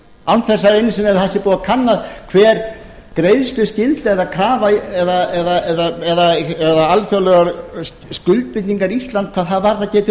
án þess einu sinni að það sé búið að kanna hver greiðsluskylda eða krafa eða alþjóðlegar skuldbindingar íslands hvað það varðar geti